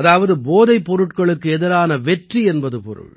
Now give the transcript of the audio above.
அதாவது போதைப் பொருட்களுக்கு எதிரான வெற்றி என்பது பொருள்